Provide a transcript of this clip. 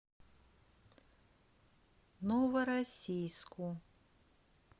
новороссийску